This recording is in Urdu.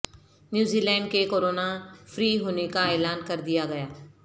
نیوزی لینڈ کے کرونا فری ہونے کااعلان کر دیا گیا